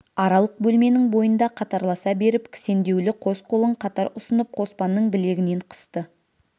аралық бөлменің бойында қатарласа беріп кісендеулі қос қолын қатар ұсынып қоспанның білегінен қысты